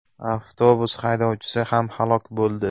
Avtobus haydovchisi ham halok bo‘ldi.